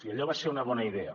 i allò va ser una bona idea